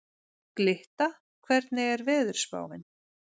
Glytta, hvernig er veðurspáin?